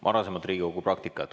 Varasemat Riigikogu praktikat.